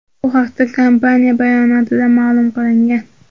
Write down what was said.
Bu haqda kompaniya bayonotida ma’lum qilingan .